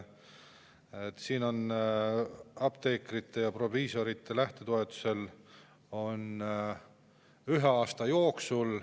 Siin on nii, et apteekrite ja proviisorite lähtetoetust võib taotleda ühe aasta jooksul.